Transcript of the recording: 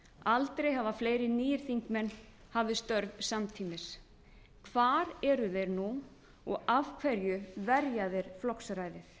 aldrei hafa fleiri nýir þingmenn hafið störf samtímis hvar eru þeir nú og af hverju verja þeir flokksræðið